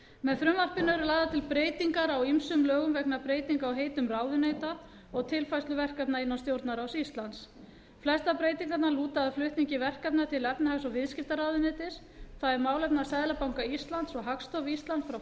með frumvarpinu eru lagðar til breytingar á ýmsum lögum vegna breytinga á heitum ráðuneyta og tilfærslu verkefna innan stjórnarráðs íslands flestar breytingarnar lúta að flutningi verkefna til efnahags og viðskiptaráðuneytis það er málefna seðlabanka íslands og hagstofu íslands frá